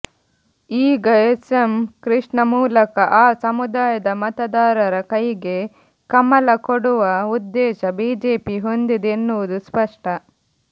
ಈಗ S M Krishna ಮೂಲಕ ಆ ಸಮುದಾಯದ ಮತದಾರರ ಕೈಗೆ ಕಮಲಕೊಡುವ ಉದ್ದೇಶ ಬಿಜೆಪಿ ಹೊಂದಿದೆ ಎನ್ನುವುದು ಸ್ಪಷ್ಟ